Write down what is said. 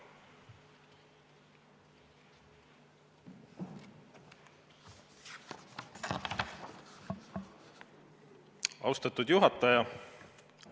Austatud juhataja!